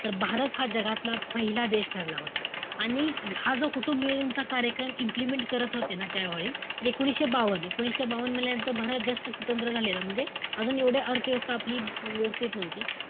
तर भारत हा जगातला पहिला देश ठरला होता. आणि हा जो कुटुंबनियोजन चा कार्यक्रम implement करत होते ना त्यावेळी, एकोणीशे बावन, एकोणीशे बावन म्हणल्यानंतर भारत जास्त स्वतंत्र झालेला. म्हणजे अजून एवढे अर्थव्यवस्था आपली व्यवस्थित नव्हती.